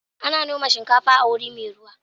Ana noman shikafa a waje mai ruwa.